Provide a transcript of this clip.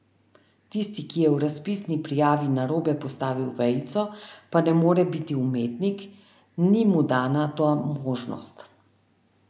Tisti, ki je v razpisni prijavi narobe postavil vejico, pa ne more biti umetnik, ni mu dana ta možnost.